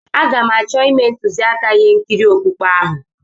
Aga m achọ ime ntuziaka ihe nkiri okpukpe ahụ.